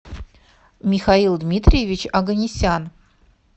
михаил дмитриевич оганесян